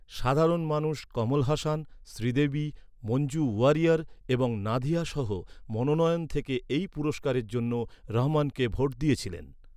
সাধারণ মানুষ কমল হাসান, শ্রীদেবী, মঞ্জু ওয়ারিয়র এবং নাধিয়া সহ মনোনয়ন থেকে এই পুরস্কারের জন্য রহমানকে ভোট দিয়েছিলেন।